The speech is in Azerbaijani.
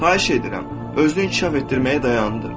Xahiş edirəm, özünü inkişaf etdirməyi dayandır.